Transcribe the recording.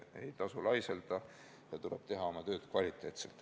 Ei tasu laiselda ja tuleb teha oma tööd kvaliteetselt.